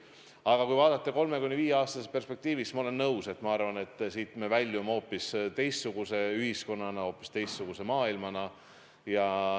Aga kui vaadata 3–5-aastases perspektiivis, siis ma arvan, et me väljume siit hoopis teistsuguse ühiskonnana, hoopis teistsuguse maailmana.